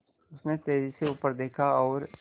उसने तेज़ी से ऊपर देखा और